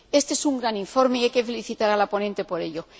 Éste es un gran informe y hay que felicitar a la ponente por ello.